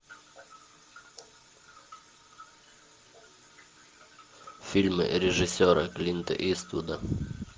фильмы режиссера клинта иствуда